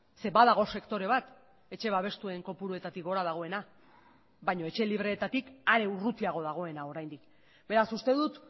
zeren badago sektore bat etxe babestuen kopuruetatik gora dagoena baina etxe libreetatik are urrutiago dagoena oraindik beraz uste dut